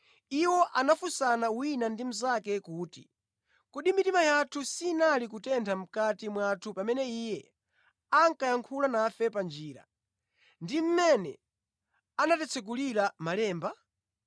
Iwo anafunsana wina ndi mnzake kuti, “Kodi mitima yathu sinali kutentha mʼkati mwathu pamene Iye ankayankhulana nafe pa njira ndi mmene anatitsekulira malemba?”